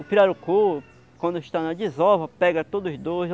O pirarucu, quando está na desova, pega todos os dois.